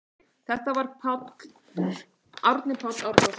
Þetta var Árni Páll Árnason.